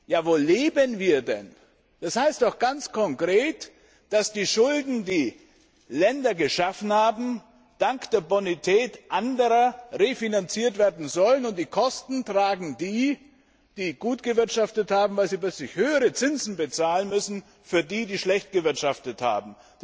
Ja wo leben wir denn? Das heißt doch ganz konkret, dass die Schulden, die Länder angehäuft haben, dank der Bonität anderer refinanziert werden sollen, und die Kosten tragen die, die gut gewirtschaftet haben, weil sie bei sich höhere Zinsen bezahlen müssen für die, die schlecht gewirtschaftet haben.